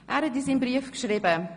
Er schrieb uns in seinem Brief: